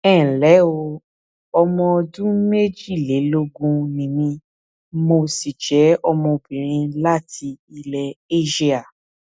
ẹ ǹlẹ o ọmọ ọdún méjìlélógún ni mí mo sì jẹ ọmọbìnrin láti ilẹ eéṣíà